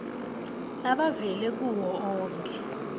labavela kuwo onkhe